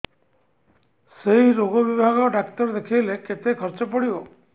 ସେଇ ରୋଗ ବିଭାଗ ଡ଼ାକ୍ତର ଦେଖେଇଲେ କେତେ ଖର୍ଚ୍ଚ ପଡିବ